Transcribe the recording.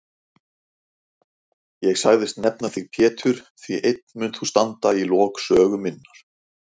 Ég sagðist nefna þig Pétur því einn munt þú standa í lok sögu minnar.